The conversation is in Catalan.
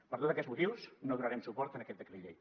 per tots aquests motius no donarem suport a aquest decret llei